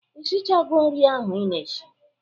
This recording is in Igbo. Ishichago nri ahụ ị na-eshi?